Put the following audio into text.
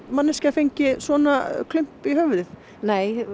fengi svona klump í höfuðið nei